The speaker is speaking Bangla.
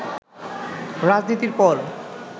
রাজনীতির পর